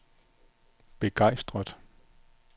begejstret